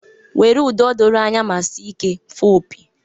Were ụda doro anya ma dị ike fụọ opi.